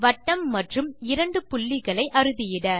வட்டம் மற்றும் இரண்டு புள்ளிகளை அறுதியிட